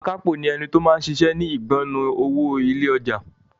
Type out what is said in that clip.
Akápò ni ẹni tó máa ń ṣiṣẹ́ ni ìgbọnnu owó ilé ọjà.